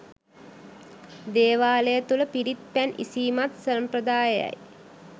දේවාලය තුළ පිරිත් පැන් ඉසීමත් සම්ප්‍රදායය යි.